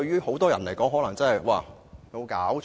很多人也許會認為有否搞錯？